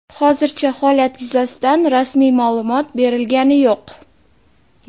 Hozircha holat yuzasidan rasmiy ma’lumot berilgani yo‘q.